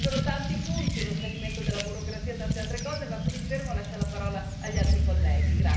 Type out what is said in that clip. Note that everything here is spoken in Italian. Sarebbero tanti i punti, lo snellimento della burocrazia e tante altre cose, ma qui mi fermo, lascia la parola agli altri colleghi.